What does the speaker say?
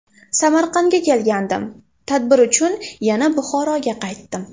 Samarqandga kelgandim, tadbir uchun yana Buxoroga qaytdim.